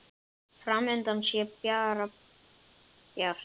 Fram undan sé bara bjart.